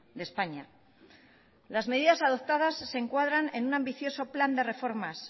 de españa las medidas adoptadas se encuadran en un ambicioso plan de reformas